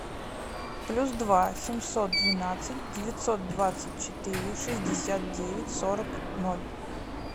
плюс два семьсот двенадцать девятьсот двадцать четыре шестьдесят девять сорок ноль